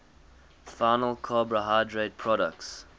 final carbohydrate products